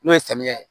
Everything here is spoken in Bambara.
N'o ye samiya ye